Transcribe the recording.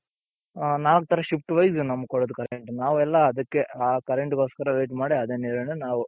ನಾವ್ ಒಂಥರಾ shift wise ನಮ್ಗ್ ಕೊಡೋದು current ನಾವೆಲ್ಲಾ ಅದಕ್ಕೆ ಆ current ಗೋಸ್ಕರ wait ಮಾಡಿ ಅದೇ ನೀರನ್ನೇ ನಾವು.